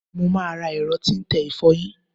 Mo máa ra ẹ̀rọ tí ń tẹ ìfọyín.